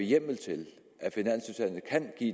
hjemmel til